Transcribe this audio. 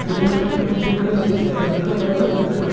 दिलेल्या फोटो मध्ये एक घर दिसत आहे घराच्या बाजूला--